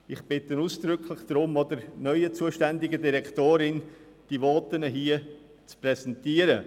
Ich bitte ausdrücklich darum, diese Voten hier auch der neuen zuständigen Direktorin zu präsentieren.